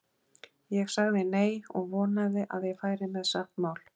Ég sagði nei, og vonaði að ég færi með satt mál.